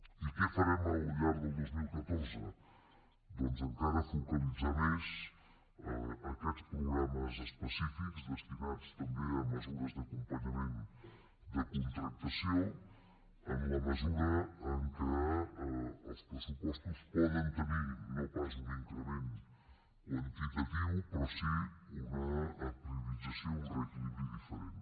i què farem al llarg del dos mil catorze doncs encara focalitzar més aquests programes específics destinats també a mesures d’acompanyament de contractació en la mesura que els pressupostos poden tenir no pas un increment quantitatiu però sí una priorització un reequilibri diferent